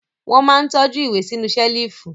Wọ́n máa ń tọ́jú ìwé sínú ṣẹ́lífù.